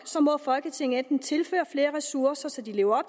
må folketinget enten tilføre flere ressourcer så de lever